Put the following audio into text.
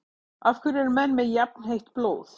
Af hverju eru menn með jafnheitt blóð?